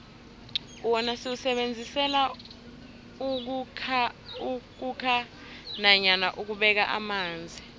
wona siwusebenzisela ukhukha nanyana ukubeka amanzi